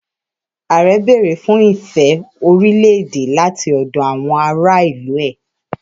Ààrẹ béèrè fún ìfẹ́ orílẹ̀-èdè láti ọ̀dọ̀ àwọn ará ìlú rẹ̀.